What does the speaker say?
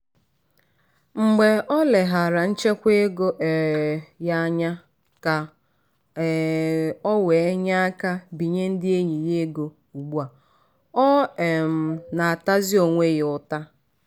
“mgbe oleghaara nchekwa ego um ya anya ka um o wee nyeaka binye ndị enyị ya ego ugbu a o um na-atazi onwe ya ụta.”